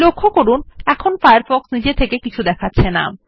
লক্ষ্য করুন কোন পরামর্শ আসছে না